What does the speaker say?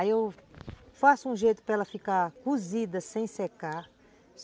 Aí eu faço um jeito para ela ficar cozida sem secar.